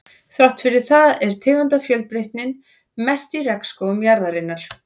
Þrátt fyrir það er tegundafjölbreytnin mest í regnskógum jarðarinnar.